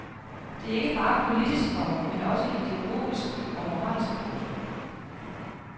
Det er ikke bare politisk, komma men også ideologisk og moralsk. punktum